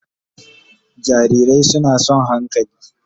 Jarirai suna son hankali